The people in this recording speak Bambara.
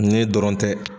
Ne dɔrɔn tɛ